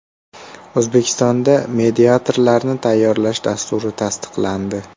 O‘zbekistonda mediatorlarni tayyorlash dasturi tasdiqlandi.